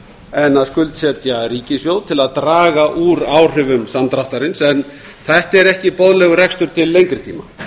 en að skuldsetja ríkissjóð til að draga úr áhrifum samdráttarins en þetta er ekki boðlegur rekstur til lengri tíma